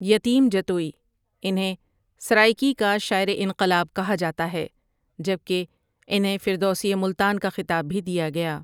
یتیم جتوئی انہیں سرائیکی کا شاعرِ انقلاب کہا جاتا ہے جبکہ انہیں فردوسی ملتان کا خطاب بھی دیا گیا ۔